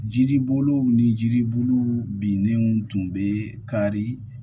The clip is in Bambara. Jiribolow ni jiribolow binnenw tun bɛ kari